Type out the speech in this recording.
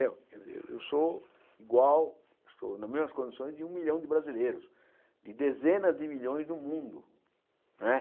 Eu eu eu sou igual, estou nas mesmas condições de um milhão de brasileiros, de dezenas de milhões no mundo. Não é